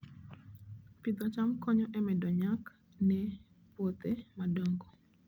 Pidho cham konyo e medo nyak e puothe madongo